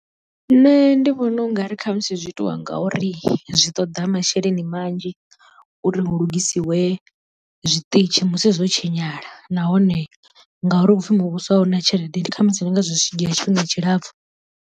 Nṋe ndi vhona ungari khamusi zwi itiwa ngauri zwi ṱoḓa masheleni manzhi uri hu lugisiwe zwiṱitshi musi zwo tshinyala nahone ngauri hupfi muvhuso a huna tshelede ndi khamusi ndi ngazwo zwi tshi dzhia tshifhinga tshilapfu.